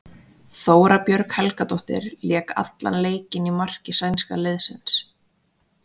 Þóra Björg Helgadóttir lék allan leikinn í marki sænska liðsins.